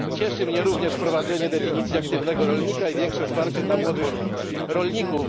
Cieszy mnie również wprowadzenie definicji aktywnego rolnika i większe wsparcie dla młodych rolników.